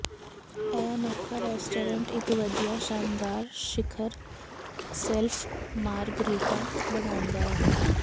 ਇਹ ਅਨੋਖਾ ਰੈਸਟੋਰੈਂਟ ਇਕ ਵਧੀਆ ਸ਼ਾਨਦਾਰ ਸਿਖਰ ਸ਼ੈਲਫ ਮਾਰਗਾਰੀਟਾ ਬਣਾਉਂਦਾ ਹੈ